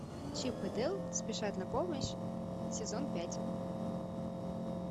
чип и дейл спешат на помощь сезон пять